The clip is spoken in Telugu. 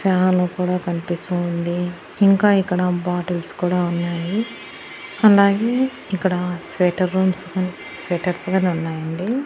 ఫ్యాన్ కూడా కనిపిస్తు ఉంది. ఇంకా ఇక్కడ బాటిల్స్ కూడా ఉన్నాయి అలాగే ఇక్కడ స్వేటర్ రూమ్స్ స్వెటర్స్ గానే ఉన్నాయండి.